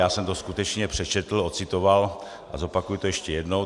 Já jsem to skutečně přečetl, ocitoval a zopakuji to ještě jednou.